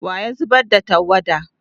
wa ya zubar da tawada?